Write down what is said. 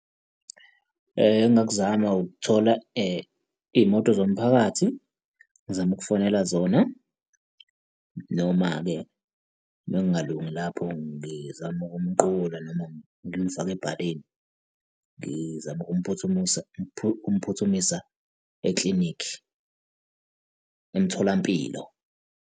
Engingakuzama ukuthola iy'moto zomphakathi, ngizame ukufonela zona. Noma-ke, uma kungalungi lapho ngizame ukumqukula, noma ngimfake ebhaleni, ngizame ukumphuthumisa ukumphuthumisa eklinikhi, emtholampilo.